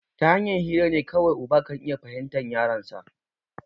Tahanyan hirane kawai uba kan iya fahimtan yaronsa